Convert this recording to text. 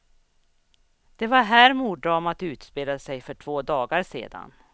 Det var här morddramat utspelade sig för två dagar sedan.